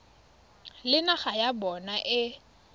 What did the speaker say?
le naga ya bona e